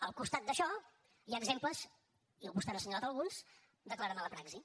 al costat d’això hi ha exemples i vostè n’ha assenyalat alguns de clara mala praxi